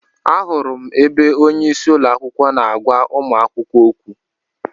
Ahụrụ m ebe onyeisi ụlọakwụkwọ na-agwa ụmụ akwụkwọ okwu.